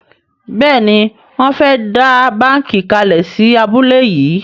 Béèni Wón fè dá bánkì kalè sí abúlé yí.